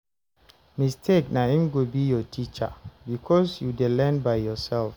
mistake na im go be your teacher because you dey learn by yourself